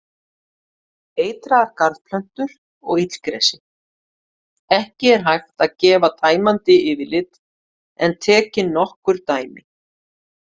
Eitraðar garðplöntur og illgresi Ekki er hægt að gefa tæmandi yfirlit en tekin nokkur dæmi.